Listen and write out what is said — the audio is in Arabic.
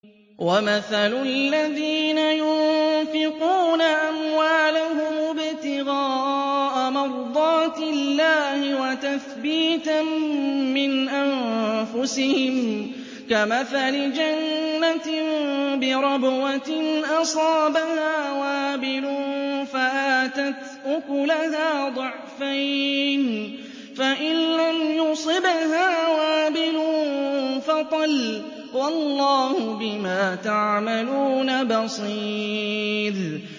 وَمَثَلُ الَّذِينَ يُنفِقُونَ أَمْوَالَهُمُ ابْتِغَاءَ مَرْضَاتِ اللَّهِ وَتَثْبِيتًا مِّنْ أَنفُسِهِمْ كَمَثَلِ جَنَّةٍ بِرَبْوَةٍ أَصَابَهَا وَابِلٌ فَآتَتْ أُكُلَهَا ضِعْفَيْنِ فَإِن لَّمْ يُصِبْهَا وَابِلٌ فَطَلٌّ ۗ وَاللَّهُ بِمَا تَعْمَلُونَ بَصِيرٌ